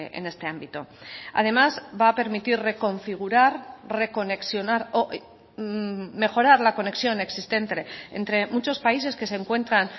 en este ámbito además va a permitir reconfigurar reconexionar o mejorar la conexión existente entre muchos países que se encuentran